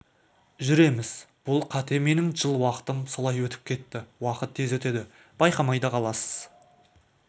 жүреміз бұл қате менің жыл уақытым солай өтіп кетті уақыт тез өтеді байқамай да қаласыз